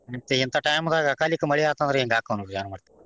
ಮತ್ತ ಇಂತಾ time ದಾಗ ಅಕಾಲಿಕ ಮಳಿ ಆತ ಅಂದ್ರ ಹಿಂಗ ಅಕ್ಕಾವ ನೋಡ ಏನ ಮಾಡ್ತಿರಿ.